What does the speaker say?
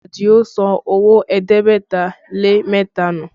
Adio sọ owó ẹ̀ẹ́dẹ́gbẹ̀ta lé mẹ́ta nù